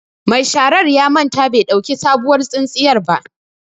Ma sharar ya manta bai ɗauki sabuwar tsintsiyan ba.